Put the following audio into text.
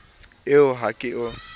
ee a o ke o